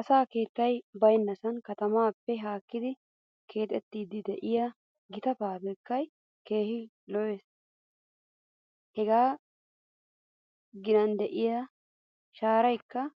Asaa keetay baynnasan katamaappe haakkidi keexetiiddi de'iyaa gita fabiriikkay keehi lo'es. Hegaa ginan de'iyaa shaaraykka